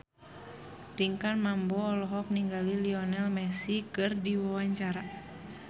Pinkan Mambo olohok ningali Lionel Messi keur diwawancara